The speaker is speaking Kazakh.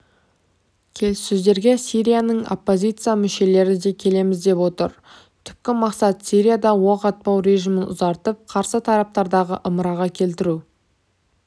келіссөздерге сирияның оппозиция мүшелері де келеміз деп отыр түпкі мақсат сирияда оқ атпау режимін ұзартып қарсы тараптарды ымыраға келтіру